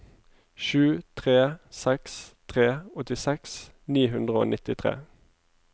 sju tre seks tre åttiseks ni hundre og nittitre